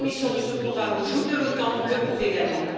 La soumission de ce programme au joug de l'OTAN le prouve également.